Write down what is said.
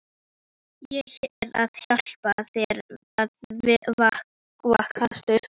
Á ég að hjálpa þér að vaska upp?